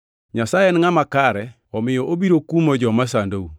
Nyasaye en ngʼama kare omiyo obiro kumo joma sandou,